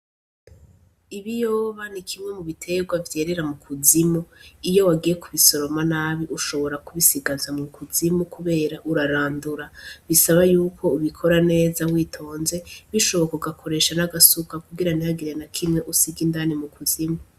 Ibiyoba nikimwe mu bitegwa vyerera mukuzimu iyo wagiye kubisoroma nabi ushobora kubisigaza mukuzimu kubera urarandura bisaba yuko ubikora neza witonze bishoboka ugakoresha nagasuka kugira nihagire nakimwe usiga indani mukuzimu.